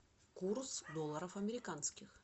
курс долларов американских